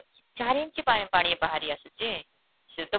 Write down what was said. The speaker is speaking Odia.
ଚାରି inch ପାଣି ପାଣି ବାହାରି ଆସୁଛି ସେ ତ